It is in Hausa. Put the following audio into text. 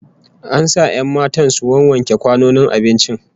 An sa 'yan matan su wawwanke kwanonin abincin